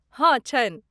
हँ, छनि।